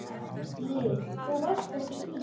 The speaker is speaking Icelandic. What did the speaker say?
Lillý: Þú varst ekki í?